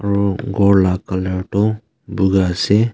khor tae colour toh buka ase.